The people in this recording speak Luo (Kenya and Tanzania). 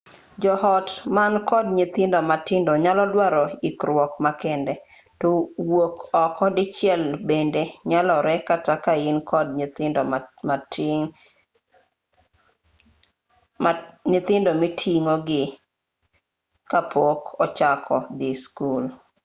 jo-ot man kod nyithindo matindo nyalo dwaro ikruok makende to wuok oko dichiel bende nyalore kata kain kod nyithindo miting'o gi mapok ochako dhii skul